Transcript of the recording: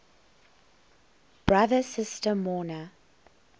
brother sister mourner